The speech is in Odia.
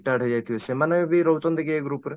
retard ହେଇଯାଇଥିବେ ସେମାନେ ଯଦି ରହୁଛନ୍ତି କି ଏଇ group ରେ